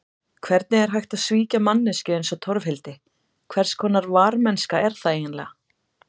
Hvernig er hægt að svíkja manneskju eins og Torfhildi, hverskonar varmennska er það eiginlega?